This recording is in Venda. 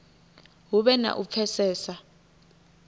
hu vhe na u pfesesa